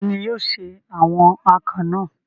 Ta ni yóò se awon akàn náà?